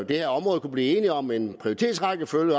det her område kunne blive enige om en prioritetsrækkefølge